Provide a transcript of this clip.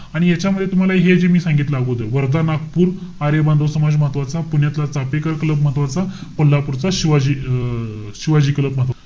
आणि याच्यामध्ये तुम्हाला हे जे मी सांगितलं अगोदर. वर्धा, नागपूर, आर्य बांधव समाज महत्वाचा. पुण्याचा चाफेकर क्लब महत्वाचा. कोल्हापूरचा, शिवाजी अं शिवाजी क्लब महत्वाचा.